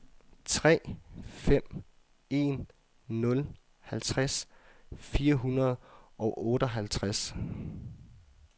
tre fem en nul halvtreds fire hundrede og otteoghalvtreds